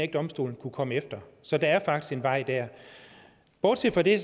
ikke domstolen kunne komme efter så der er faktisk en vej der bortset fra det